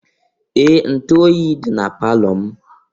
Ee! Ntu oyi dị na palọ m.